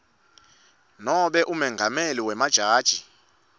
nobe umengameli wemajaji